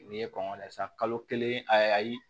N'i ye kɔngɔ layɛ sisan kalo kelen ayi